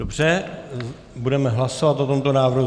Dobře, budeme hlasovat o tomto návrhu.